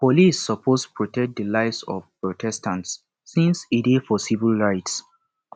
police suppose protect di lives of protestants since e dey for civil rights